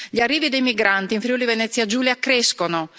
Gli arrivi dei migranti in Friuli Venezia Giulia crescono.